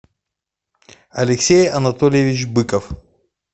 алексей анатольевич быков